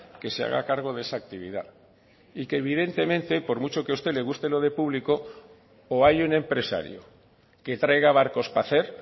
que se haga cargo de esa actividad y que evidentemente por mucho que a usted le guste lo de público o hay un empresario que traiga barcos para hacer